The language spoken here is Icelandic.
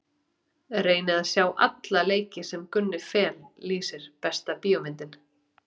Reyni að sjá alla leiki sem Gunni Fel lýsir Besta bíómyndin?